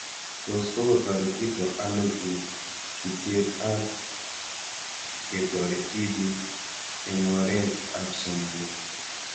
Tos kokotaretito ano chutet ab ketoret tipik eng'oret ab somanet